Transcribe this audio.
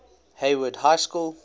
hayward high school